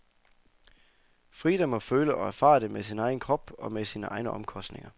Frida må føle og erfare det med sin egen krop og med sine egne omkostninger.